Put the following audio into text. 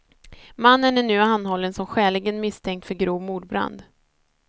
Mannen är nu anhållen som skäligen misstänkt för grov mordbrand.